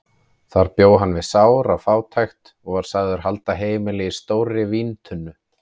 Þar bjó hann við sára fátækt og var sagður halda heimili í stórri víntunnu.